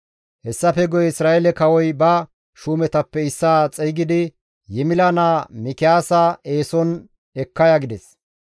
Hessafe guye Isra7eele kawoy ba shuumetappe issaa xeygidi, «Yimila naa Mikiyaasa eeson ekka ya» gides.